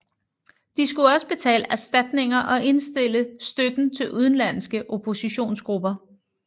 De skulle også betale erstatninger og indstille støtten til udenlandske oppositionsgrupper